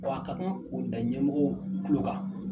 Wa a ka kan k'o da ɲɛmɔgɔw kuko kan